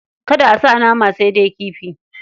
Kada a sa nama, sai dai kifi.